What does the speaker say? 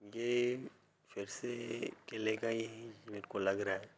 ये फिर से किले का ही मेरे को लग रहा है।